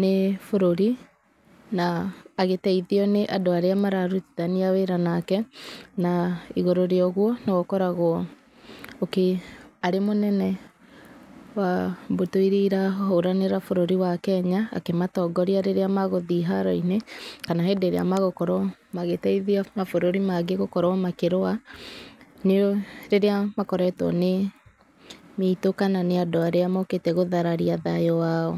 nĩ bũrũri, na agĩteithio nĩ andũ arĩa mararutithania wĩra nake. Na igũrũ rĩa ũguo, nĩwe ũkoragwo arĩ mũnene wa mbũtũ irĩa irahũranĩra bũrũri wa Kenya, akĩmatongoria rĩrĩa magũthiĩ haro-inĩ, kana hĩndĩ ĩrĩa magũkorwo magĩteithia mabũrũri mangĩ gũkorwo makĩrũa, nĩ rĩrĩa makoretwo nĩ mĩitũ kana nĩ andũ arĩa mokĩte gũthararia thayũ wao.